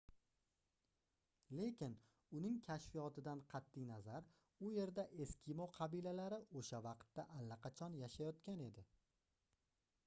lekin uning kashfiyotidan qatʼi nazar u yerda eskimo qabilalari oʻsha vaqtda allaqachon yashayotgan edi